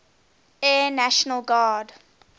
air national guard